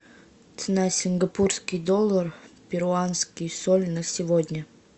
цена сингапурский доллар перуанский соль на сегодня